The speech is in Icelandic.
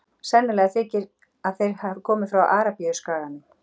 Sennilegt þykir að þeir hafi komið frá Arabíuskaganum.